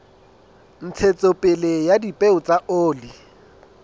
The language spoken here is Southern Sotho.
ntshetsopele ya dipeo tsa oli